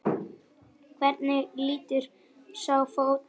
Hvernig lítur sá fótur út?